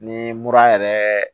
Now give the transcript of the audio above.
Ni mura yɛrɛ